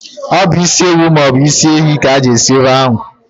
Ọ bụ ịsi ewu maọbụ ịsị ehi ka ị ga eji sie ofe ahu